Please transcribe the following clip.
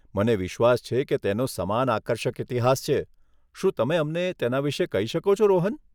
મને વિશ્વાસ છે કે તેનો સમાન આકર્ષક ઇતિહાસ છે, શું તમે અમને તેના વિશે કહી શકો છો, રોહન?